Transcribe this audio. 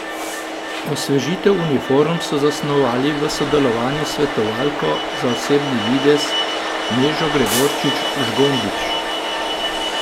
Osvežitev uniform so zasnovali v sodelovanju s svetovalko za osebni videz Nežo Gregorčič Žgombič.